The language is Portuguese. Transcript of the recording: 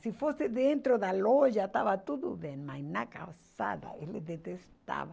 Se fosse dentro da loja, estava tudo bem, mas na calçada ele detestava.